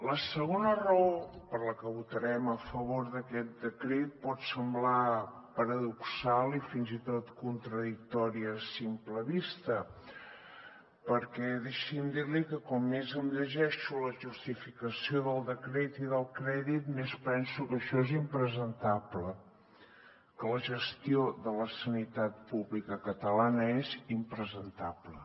la segona raó per la qual votarem a favor d’aquest decret pot semblar paradoxal i fins i tot contradictori a simple vista perquè deixi’m dir li que com més em llegeixo la justificació del decret i del crèdit més penso que això és impresentable que la gestió de la sanitat pública catalana és impresentable